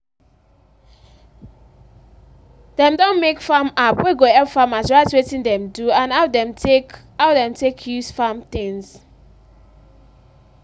dem don make farm app wey go help farmers write wetin dem do and how dem take how dem take use farm things.